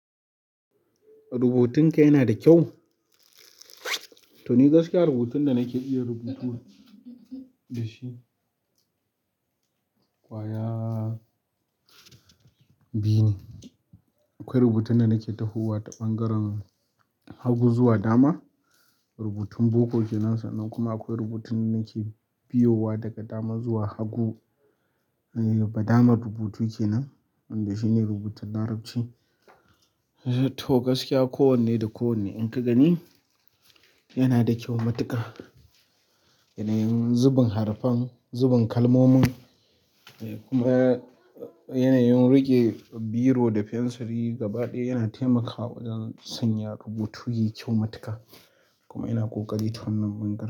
Rubutun ka yana da kyau? To ni gaskiya rubutun da nake iya rubutu da shi, kwaya biyu ne. Akwai rubutun da nake tahowa ta ɓangaren hagu zuwa dama, rubutun boko kenan sannan kuma akwai rubutun da nake biyowa daga dama zuwa hagu. Me badamen rubutu kenan wanda shine rubutun larabci to gaskiya kowanne da kowanne in ka gani yana da kyau matuƙa. Yanayin zubin harafan zubin kalmomin da yanayin riƙe biro da fensiri gaba ɗaya yana taimakawa wajen sanya rubutu yayi kyau mutuƙa kuma ina ƙoƙari tunnan bunƙa.